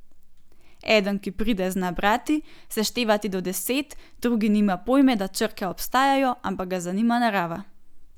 Eden, ki pride, zna brati, seštevati do deset, drugi nima pojma, da črke obstajajo, ampak ga zanima narava.